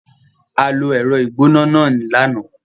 A lo ẹ̀rọ ìgbóná náà lánàá.